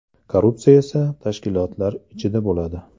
Korrupsiya esa tashkilotlar ichida bo‘ladi.